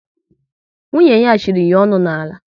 Nwunye ya chịrị ya onu n'ala